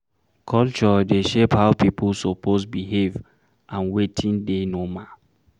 Culture dey shape how pipo suppose behave and wetin dey normal